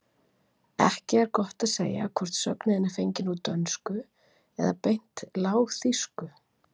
Ekki er gott að segja hvort sögnin er fengin úr dönsku eða beint lágþýsku.